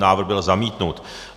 Návrh byl zamítnut.